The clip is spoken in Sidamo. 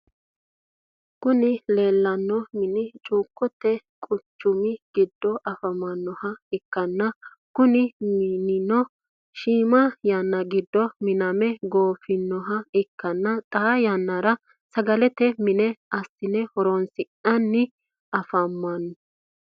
Kuni lelano mini chukote kuchumi gido afamanoha ikana kuni minino shimma yanna gido miname gofinoha ika xa yanara sagalete mine asine horronisinana afamano.